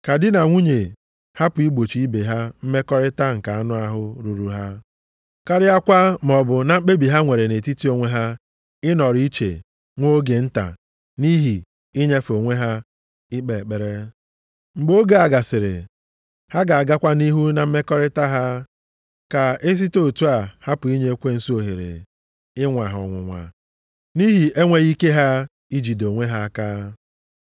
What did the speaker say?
Ka di na nwunye hapụ igbochi ibe ha mmekọrịta nke anụ ahụ ruuru ha. Karịakwa maọbụ na mkpebi ha nwere nʼetiti onwe ha ịnọrọ iche nwa oge nta nʼihi inyefe onwe ha ikpe ekpere. Mgbe oge a gasịrị, ha ga-agakwa nʼihu na mmekọrịta ha, ka e site otu a hapụ inye ekwensu ohere ịnwa ha ọnwụnwa nʼihi enweghị ike ha ijide onwe ha aka.